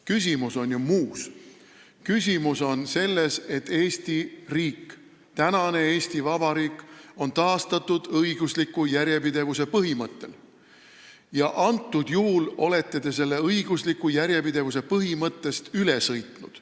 Küsimus on ju muus, küsimus on selles, et Eesti riik, tänane Eesti Vabariik on taastatud õigusliku järjepidevuse põhimõttel ja antud juhul olete te sellest õigusliku järjepidevuse põhimõttest üle sõitnud.